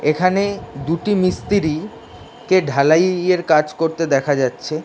এখানে দুটি মিস্ত্রি কে ঢালাই-ই-য়ের কাজ করতে দেখা যাচ্ছে ।